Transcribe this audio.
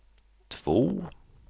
två